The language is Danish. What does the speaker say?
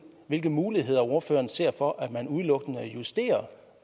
hvilke muligheder ordføreren ser for at man udelukkende justerer